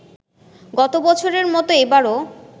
গত বছরের মতো এবারও